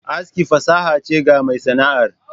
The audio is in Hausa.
Aski fasaha che ga mai Sana'ar.